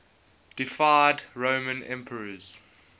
deified roman emperors